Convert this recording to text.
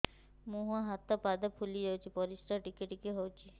ମୁହଁ ହାତ ପାଦ ଫୁଲି ଯାଉଛି ପରିସ୍ରା ଟିକେ ଟିକେ ହଉଛି